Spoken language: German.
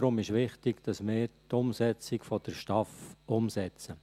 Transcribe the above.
Deshalb ist es wichtig, dass wir die Umsetzung der STAF umsetzen.